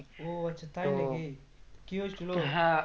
ও আচ্ছা তাই নাকি কি হয়েছিল